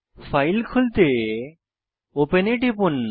file খুলতে open এ টিপুন